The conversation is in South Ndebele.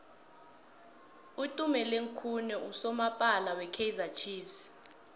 utumeleng khune nqusomapala we kaizer chiefs